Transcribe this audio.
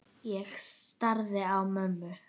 Ég starði á mömmu.